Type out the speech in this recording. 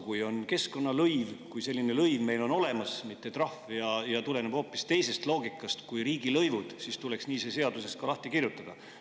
Kui on keskkonnalõiv – kui selline lõiv meil on olemas –, mitte trahv, ja tuleneb hoopis teisest loogikast kui riigilõivud, siis tuleks see seaduses nii ka lahti kirjutada.